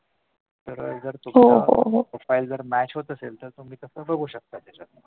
तर तुम्हाला profile जर match होत असेल तर तुम्ही बघू शकता